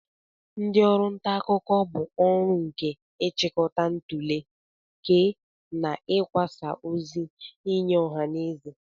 Ndị ọrụ nta akụkọ bụ orụ nke ị chịkọta, ntule, kee, na ikwasa ozi nye ọha na eze.